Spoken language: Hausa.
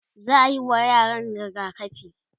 za'ayi wa yaran rigakafi